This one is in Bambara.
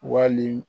Wali